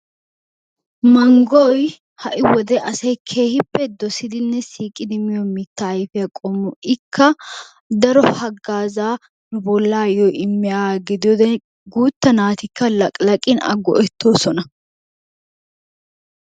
Manggoy ha"i wode asay keehippe dosidinne siiqidi miyo mittaa ayifiya qommo. Ikka daro hagaazaa bollaayo immiyaaga gidiyoode guutta naatikka laqilaqin a go"ettoosona.